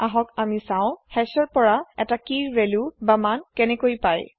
আহক আমি চাও হাশ ৰ পৰা এতা কিৰ ভেল্যুমান কেনেকৈ পায়